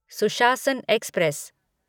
सुशासन एक्सप्रेस